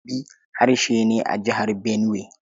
Tibi harshe ne a Jihar Benuwai.